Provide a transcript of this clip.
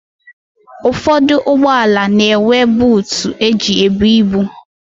Ụfọdụ ụgbọala na-enwe buutu e ji ebu ibu.